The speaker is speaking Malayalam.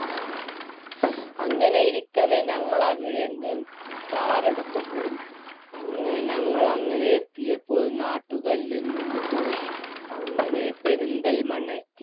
അങ്ങനെയിരിക്കവേ ഞങ്ങളവിടെ നിന്നും car എടുത്തു പോയി അങ്ങനെ ഞങ്ങളങ്ങനെ എത്തിയപ്പോൾ നാട്ടുകല്ലിൽ നിന്നും പോയി അങ്ങനെ പെരിന്തൽമണ്ണ എത്തി